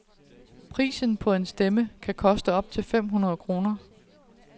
Prisen på en stemme kan koste op til fem hundrede kroner.